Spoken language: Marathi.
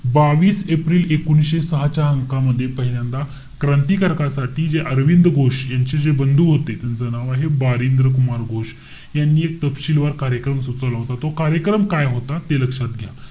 बावीस एप्रिल एकोणीशे सहा च्या अंकामध्ये पहिल्यांदा क्रांतिकारकासाठी, जे अरविंद घोष यांचे जे बंधू होते. त्यांचं नाव आहे, बारिंद्र कुमार घोष. यांनी एक तपशीलवार कार्यक्रम सुचवलं होता. तो कार्यक्रम काय होता? ते लक्षात घ्या.